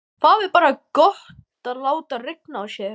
Það er bara gott að láta rigna á sig.